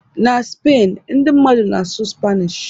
na Spain, ndị mmadụ na-asụ Spanish